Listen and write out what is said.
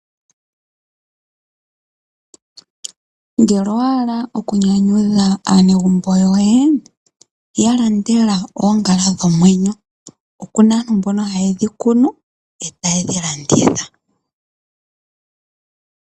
Ngele owaala okunyanyudha aanegumbo yoye, ya landela oongala dhomwenyo. Oku na aantu mboka haye dhi kunu e taye dhi landitha.